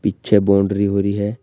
पीछे बाउंड्री हो रही है।